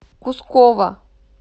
кускова